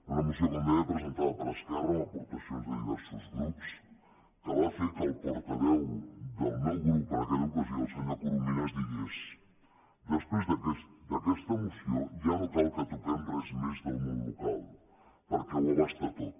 una moció com deia presentada per esquerra amb aportacions de diversos grups que va fer que el portaveu del meu grup en aquella ocasió el senyor corominas digués després d’aquesta moció ja no cal que toquem res més del món local perquè ho abasta tot